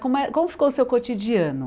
Como é como ficou o seu cotidiano?